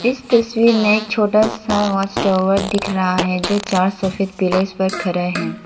इस तस्वीर में एक छोटा सा हाउस टावर दिख रहा है जो चार सफेद पिलर्स पर खरा है।